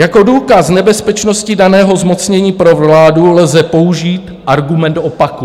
Jako důkaz nebezpečnosti daného zmocnění pro vládu lze použít argument opaku.